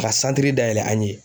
Ka santiri dayɛlɛ an' ye